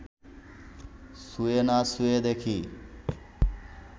ছুঁয়ে না ছুঁয়ে দেখি